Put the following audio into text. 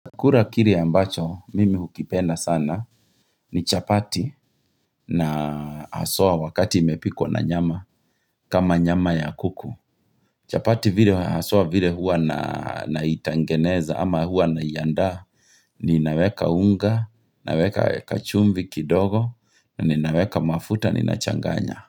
Kura kile ambacho, mimi hukipenda sana, ni chapati na haswa wakati imepikwa na nyama, kama nyama ya kuku. Chapati vile haswa vile huwa naitengeneza ama huwa naianda, ninaweka unga, naweka kachumvi kidogo, ninaweka mafuta, ninachanganya.